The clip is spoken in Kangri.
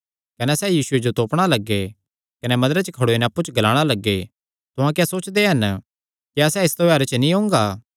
कने सैह़ यीशुये जो तोपणा लग्गे कने मंदरे च खड़ोई नैं अप्पु च ग्लाणा लग्गे तुहां क्या सोचदे हन क्या सैह़ इस त्योहारे च नीं ओंगा